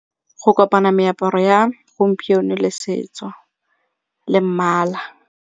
Go kopana meaparo ya gompieno le setso le mmala.